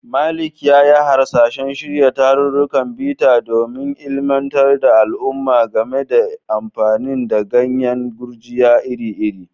Malik ya yi hasashen shirya tarurrukan bita don ilimantar da al'umma game da amfani da ganyen gurjiya iri-iri.